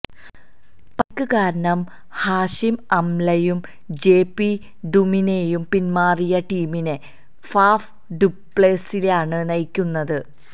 പരിക്ക് കാരണം ഹാഷിം അംലയും ജെ പി ഡുമിനിയും പിന്മാറിയ ടീമിനെ ഫാഫ് ഡുപ്ലെസിയാണ് നയിക്കുന്നത്